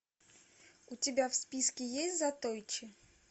у тебя в списке есть затойчи